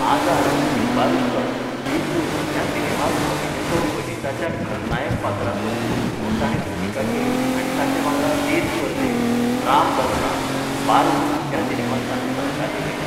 आजाद, छुपा रुस्तम, जुगनू ह्या सिनेमांत अभिनेतो अजीताच्या खलनायक पात्राचो पूत म्हूण ताणें भुमिका केल्यो आनी ताचे वांगडा देस परदेस, राम बलराम, बारूद ह्या सिनेमांत ताणें सहकार्य केलें.